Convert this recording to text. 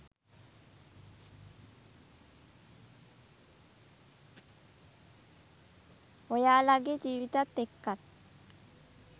ඔයාලගේ ජීවිතත් එක්කත්.